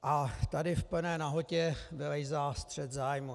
A tady v plné nahotě vylézá střet zájmů.